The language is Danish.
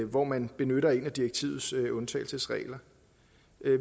hvor man benytter en af direktivets undtagelsesregler